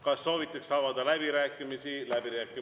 Kas soovitakse avada läbirääkimisi?